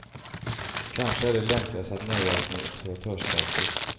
Kanske är det lämpligast att nöja oss med observatörsstatus.